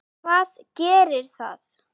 Hvað gerir það?